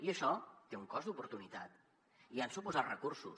i això té un cost d’oportunitat i han suposat recursos